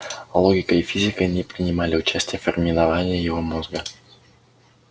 логика и физика не ггринимали участия в формировании его мозга